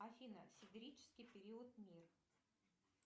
афина сидерический период мир